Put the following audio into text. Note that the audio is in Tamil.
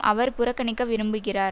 அவர் புறக்கணிக்க விரும்புகிறார்